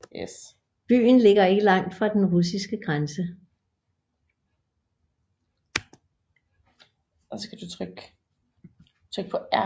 Byen ligger ikke langt fra den russiske grænse